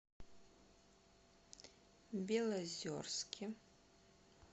белозерске